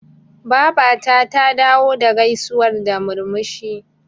Babata ta dawo da gaisuwar da murmushi.